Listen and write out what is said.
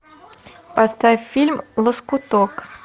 поставь фильм лоскуток